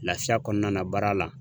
Lafiya kɔnɔna baara la